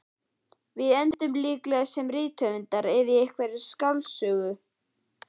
Við endum líklega sem rithöfundar eða í einhverri skáldsögu.